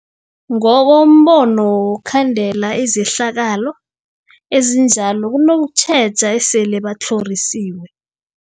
Ngokombono wokhandela izehlakalo ezinjalo kunokutjheja esele batlhorisiwe.